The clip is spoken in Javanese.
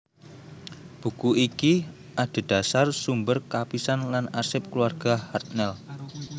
Buku iki adhedhasar sumber kapisan lan arsip kulawarga Hartnell